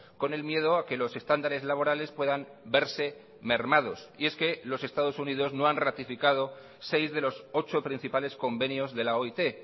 con el miedo a que los estándares laborales puedan verse mermados y es que los estados unidos no han ratificado seis de los ocho principales convenios de la oit